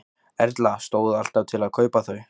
Erla: Stóð alltaf til að kaupa þau?